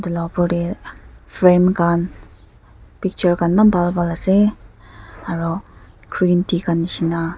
la opor te frame khan picture khan na bhal bhal ase aro green tea khan dishna.